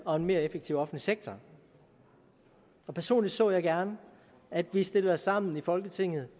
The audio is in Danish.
og en mere effektiv offentlig sektor og personligt så jeg gerne at vi stiller os sammen i folketinget